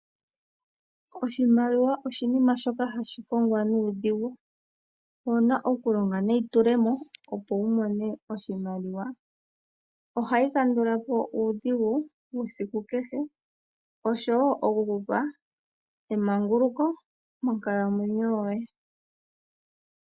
Oshimaliwa oshinima shoka hashi kongwa nuudhigu. Owuna okulonga neyitulemo opo wumone oshimaliwa. Ohayi kandulapo uudhigu wesiku kehe, oshowo emanguluko monkalamwenyo yoye.